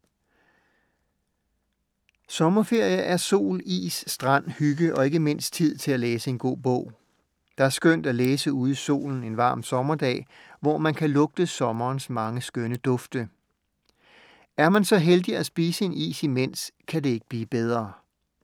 Sommerferie er sol, is, strand, hygge og ikke mindst tid til at læse en god bog. Der er skønt at læse ude i solen en varm sommerdag, hvor man kan lugte sommerens mange skønne dufte. Er man så heldig at spise en is imens, kan det ikke blive bedre.